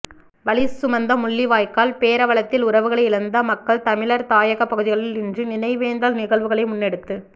வலி சுமந்த முள்ளிவாய்க்கால் பேரவலத்தில் உறவுகளை இழந்த மக்கள் தமிழர் தாயக பகுதிகளில் இன்று நினைவேந்தல் நிகழ்வுகளை முன்னெடுத்து